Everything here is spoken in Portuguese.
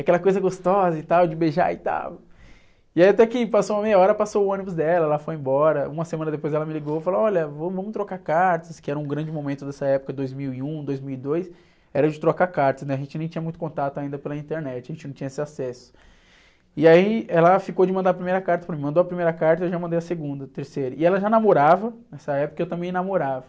aquela coisa gostosa e tal, de beijar e tal, e aí até que passou uma meia hora, passou o ônibus dela, ela foi embora, uma semana depois ela me ligou, falou, olha, vamos, vamos trocar cartas, que era um grande momento dessa época, dois mil e um, dois mil e dois, era o de trocar cartas, né? A gente nem tinha muito contato ainda pela internet, a gente não tinha esse acesso, e aí ela ficou de mandar a primeira carta para mim, mandou a primeira carta, eu já mandei a segunda, terceira, e ela já namorava, nessa época eu também namorava,